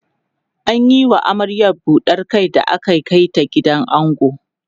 an Yi wa amaryar buɗar Kai da aka Kai ta gidan ango